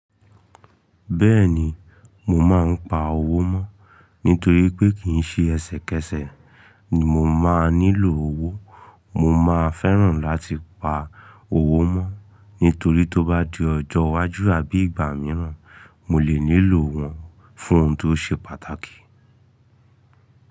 Bẹ́ẹ̀ ni, mo máa ń pa owó mọ́. Nítorí pé kì í ṣe ẹsẹ̀kẹsẹ̀ ni mo máa nílò owó, mo máa fẹ́ràn láti pa owó mọ́. Nítorí tó bá di ọjọ́ iwájú àbí ìgbà mìíràn, mo lè nílò wọn fún ohun tó ṣe pàtàkì.